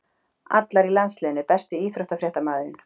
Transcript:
Allar í landsliðinu Besti íþróttafréttamaðurinn?